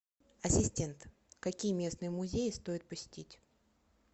ассистент какие местные музеи стоит посетить